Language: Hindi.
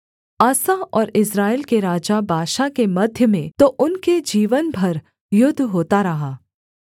आसा और इस्राएल के राजा बाशा के मध्य में तो उनके जीवन भर युद्ध होता रहा